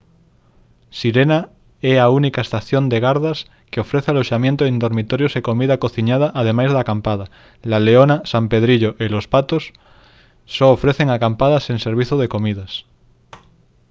sirena é a única estación de gardas que ofrece aloxamento en dormitorios e comida cociñada ademais de acampada la leona san pedrillo e los patos só ofrecen acampada sen servizo de comidas